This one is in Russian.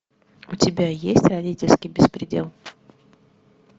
у тебя есть родительский беспредел